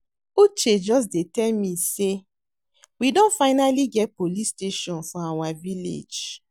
Uche just dey tell me say we don finally get police station for our village